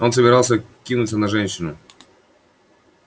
он собирался кинуться на женщину